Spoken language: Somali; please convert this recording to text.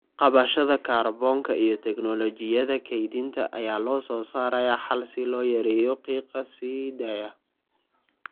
Qabashada kaarboonka iyo tignoolajiyada kaydinta ayaa loo soo saaray xal si loo yareeyo qiiqa sii daaya.